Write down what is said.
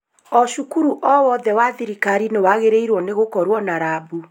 O cukuru owothe wa thirikari nĩwagĩrĩirwo nĩ gũkorwo na rabu